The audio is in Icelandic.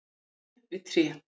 og tré við tré.